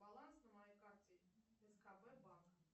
баланс на моей карте скб банк